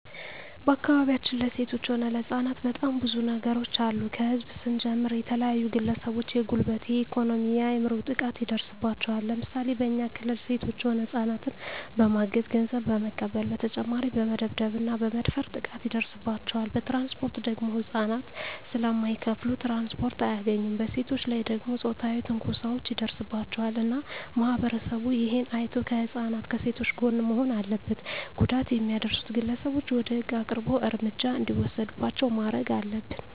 በአካባቢያችን ለሴቶች ሆነ ለህጻናት በጣም ብዙ ነገሮች አሉ ከህዝብ ስንጀምር የተለያዩ ግለሰቦች የጉልበት የኤኮኖሚ የአይምሮ ጥቃት ይደርስባቸዋል ለምሳሌ በኛ ክልል ሴቶች ሆነ ህጻናትን በማገት ገንዘብ በመቀበል በተጨማሪ በመደብደብ እና በመድፈር ጥቃት ይደርስባቸዋል በትራንስፖርት ደግሞ ህጻናት ስለማይከፋሉ ትራንስፖርት አያገኙም በሴቶች ላይ ደግሞ ጾታዊ ትንኮሳዎች ይደርስባቸዋል እና ማህበረሰቡ እሄን አይቶ ከህጻናት ከሴቶች ጎን መሆን አለበት ጉዳት የሚያደርሱት ግለሰቦች ወደ ህግ አቅርቦ እርምጃ እንዲወሰድባቸው ማረግ አለብን